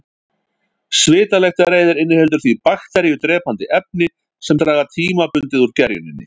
Svitalyktareyðir inniheldur því bakteríudrepandi efni sem draga tímabundið úr gerjuninni.